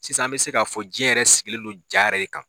Sisan an bɛ se ka min fɔ diɲɛ yɛrɛ sigilen don na yɛrɛ de kan de kan.